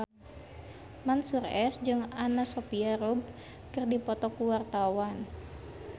Mansyur S jeung Anna Sophia Robb keur dipoto ku wartawan